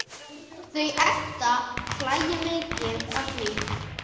Þau Edda hlæja mikið að því.